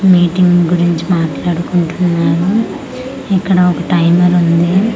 Meeting గురించి మాట్లాడుకుంటున్నారు ఇక్కడ ఒక టైమర్ ఉంది.